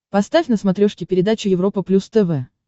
поставь на смотрешке передачу европа плюс тв